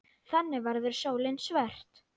Þannig verður sólin svört.